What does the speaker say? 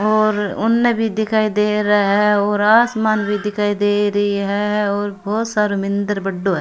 और उन भी दिखाई दे रहा है और आसमान भी दिखाई देरी है और बहोत सारो मिन्दर बड़ो है।